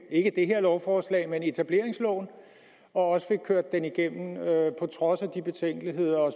ikke det her lovforslag men etableringsloven og også fik kørt det igennem på trods af de betænkeligheder og